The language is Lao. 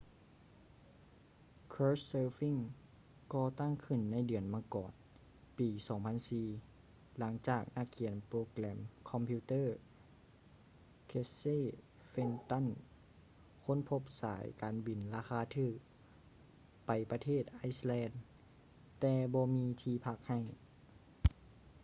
couchsurfing ກໍ່ຕັ້ງຂຶ້ນໃນເດືອນມັງກອນປີ 2004 ຫຼັງຈາກນັກຂຽນໂປຣແກຣມຄອມພິວເຕີ້ casey fenton ຄົ້ນພົບສາຍການບິນລາຄາຖືກໄປປະເທດ iceland ແຕ່ບໍ່ມີທີ່ພັກໃຫ້